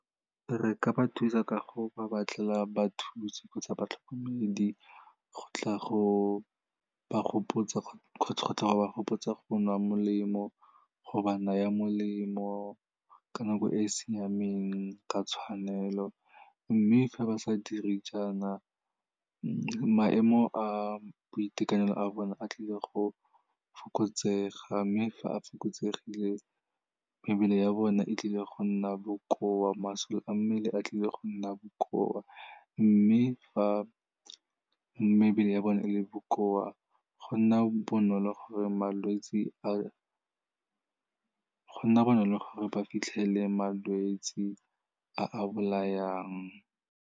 Re ka ba thusa ka go ba batlela bathusi kgotsa batlhokomedi, go tla go ba gopotsa go nwa molemo, go ba naya molemo ka nako e e siameng ka tshwanelo. Mme fa ba sa dire jaana, maemo a boitekanelo a bone a tlile go fokotsega, mme fa a fokotsegile mebele ya bone e tlile go nna bokoa, masole a mmele a tlile go nna bokoa, mme fa mebele ya bone e le bokoa, go nna bonolo gore ba fitlhelele malwetse a a bolayang.